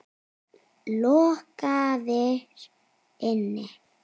Lokaðir inni?